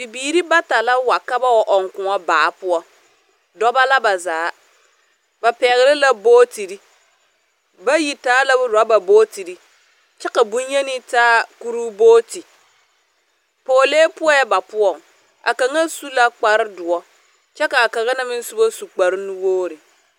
Bibiiri bata wa ka ba wa ͻŋ kõͻ baa poͻ, dͻbͻ la ba zaa. Ba pԑgele la bogitiri. Bayi taa la orͻba bootiri, kyԑ ka boŋyenee taa kuruu booti. Pͻgelee poͻԑ ba poͻŋ. Kaŋa su la kpare dõͻ kyԑ ka a kaŋa na meŋ soba su kpare nuwogiri.